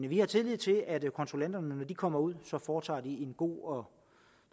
vi har tillid til at kontrollanterne når de kommer ud foretager en god